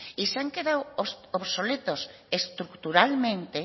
y se han quedado obsoletos estructuralmente